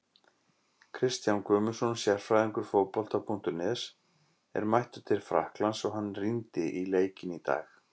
Kristján Guðmundsson, sérfræðingur Fótbolta.net, er mættur til Frakklands og hann rýndi í leikinn í dag.